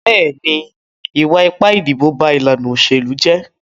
Bẹ́ẹ̀ni, ìwà ipá ìdìbò ba ìlànà òṣèlú jẹ́.